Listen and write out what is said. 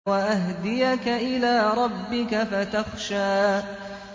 وَأَهْدِيَكَ إِلَىٰ رَبِّكَ فَتَخْشَىٰ